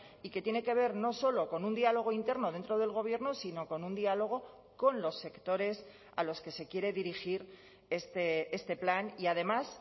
y que tiene que ver no solo con un diálogo interno dentro del gobierno sino con un diálogo con los sectores a los que se quiere dirigir este plan y además